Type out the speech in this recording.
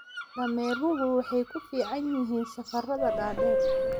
Dameeruhu waxay ku fiican yihiin safarrada dhaadheer.